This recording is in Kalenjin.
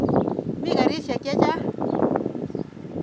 Mi karisyek che terter.